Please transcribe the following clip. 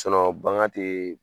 bagan ti